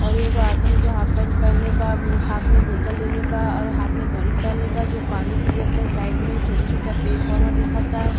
औरु एगो आदमी जो हाफ पैंट पहेनल बा म्-उ-हाथ में बोतल लेले बा और हाथ में घड़ी पेनले बा जो पानी पियता साइड में। छोटा-छोटा पेर -पौधा दिखता।